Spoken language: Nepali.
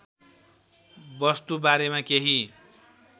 वस्तु बारेमा केही